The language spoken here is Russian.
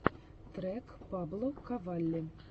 трек паблоковалли